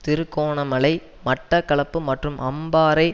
திருகோணமலை மட்டக்களப்பு மற்றும் அம்பாறை